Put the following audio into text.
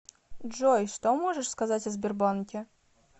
джой что можешь сказать о сбербанке